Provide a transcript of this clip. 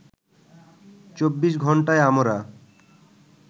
২৪ ঘন্টাই আমরা